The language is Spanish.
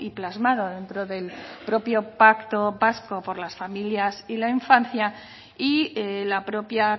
plasmado dentro del propio pacto vasco por las familias y la infancia y la propia